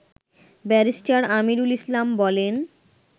barrister Amirul Islam বলেন